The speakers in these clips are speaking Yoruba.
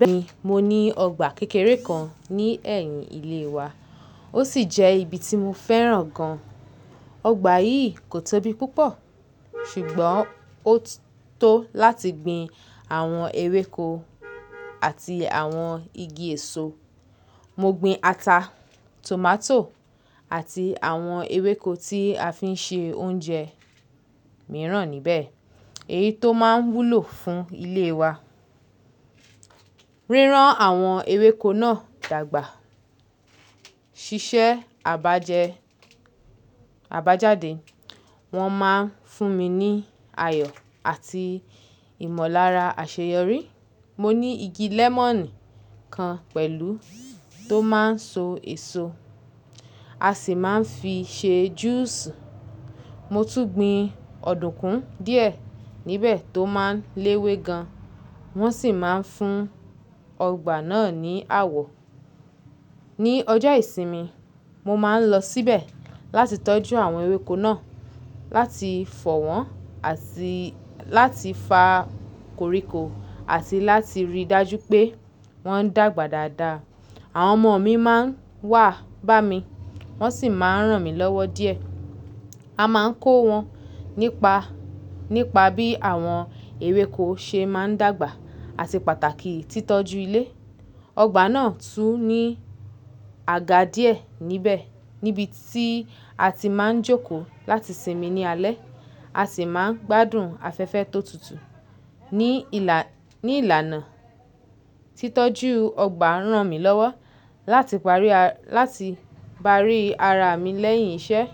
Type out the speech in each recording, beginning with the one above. Bẹ́ẹ̀ni, mo ní ọgbà kékeré kan ní ẹ̀yìn ilé wa. Ó sì jẹ́ ibi tí mo fẹ́ràn gan. Ọgbà yìí kò tóbi púpọ̀, ṣùgbọ́n ó tó láti gbin àwọn ewéko àti àwọn igi èso. Mo gbin ata, tòmátò àti àwọn ewéko tí a fi ń ṣe oúnjẹ mìíràn níbẹ̀, èyí tó máa ń wúlò fún ilé wa. Rírán àwọn ewéko náà dàgbà, ṣiṣẹ́ abájẹ abájádé. Wọ́n máa ń fún mi ní ayọ̀ àti ìmọ̀lára àṣeyọrí. Mo ní igi lẹ́mọ́nì kan pẹ̀lú tó máa ń so èso. A sì máa ń fi ṣe juusu. Mo tún gbin ọ̀dùnkún díẹ̀ níbẹ̀ tó máa ń léwe gan. Wọ́n sì máa ń fún ọgbà náà ní àwọ̀. Ni ọjọ́ ìsinmi, mo máa ń lọ síbẹ̀ láti tọ́jú àwọn ewéko náà, láti fọ̀ wọ́n àti láti fa koríko àti láti ríi dájú pé wọ́n n dàgbà dáadáa. Àwọn ọmọ mi máa ń wà bá mi. Wọ́n sì máa ń ràn mí lọ́wọ́ díẹ̀. A máa ń kó wọn nípa, nípa bí àwọn ewéko ṣe máa ń dàgbà àti pàtàkì títọ́jú ilé. Ọgbà náà tún ní àga díẹ̀ níbẹ̀ níbi tí a ti máa ń jókòó láti sinmi ní alẹ́. A sì máa ń gbádùn afẹ́fẹ́ tó tutù ní ìlà, ní ìlànà. Títọ́jú ọgbà rán mi lọ́wọ́ láti parí, láti parí ara mi lẹ́yìn iṣẹ́.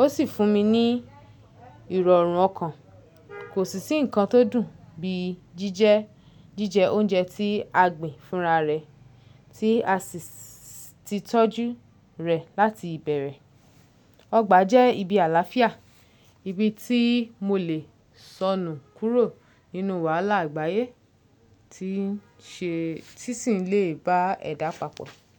Ó sì fún mi ní ìrọ̀rùn ọkàn. Kò sí sí nǹkan tó dùn bí jíjẹ, jíjẹ oúnjẹ tí a gbìn fúnra rẹ̀ tí a sì ti tọ́jú rẹ̀ láti ìbẹ̀rẹ̀. Ọgbà jẹ́ ibi àlàáfíà, ibi tí mo lè sọnù kúrò nínú wàhálà ìgbáyé tí ń ṣe, tí sì n lè bá ẹ̀dá papọ̀.